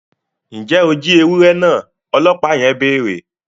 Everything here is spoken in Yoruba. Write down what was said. Njẹ o jí ewurẹ náà! ọlọpa yẹn béèrè